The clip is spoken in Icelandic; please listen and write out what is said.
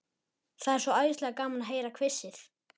Það er svo æðislega gaman að heyra hvissið.